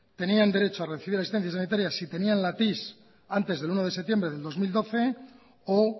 tenían derecho a recibir asistencia sanitaria si tenían la tis antes del uno de septiembre del dos mil doce o